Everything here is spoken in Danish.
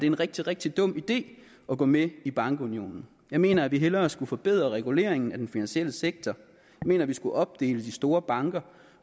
en rigtig rigtig dum idé at gå med i bankunionen jeg mener at vi hellere skulle forbedre reguleringen af den finansielle sektor jeg mener at vi skulle opdele de store banker